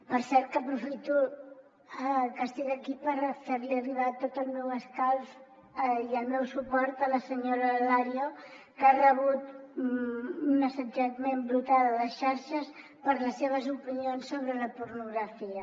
per cert que aprofito que soc aquí per fer li arribar tot el meu escalf i el meu suport a la senyora alario que ha rebut un assetjament brutal a les xarxes per les seves opinions sobre la pornografia